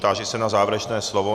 Táži se na závěrečné slovo.